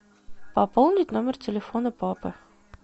пополнить номер телефона папы